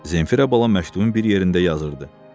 Zenfira bala məktubun bir yerində yazırdı: